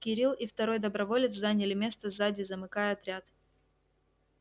кирилл и второй доброволец заняли место сзади замыкая отряд